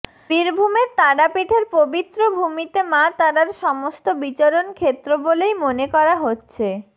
বীরভূমের তারাপীঠের পবিত্র ভূমিতে মা তারার সমস্ত বিচরণ ক্ষেত্র বলেই মনে করা হচ্ছে